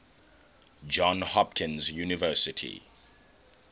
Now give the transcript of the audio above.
johns hopkins university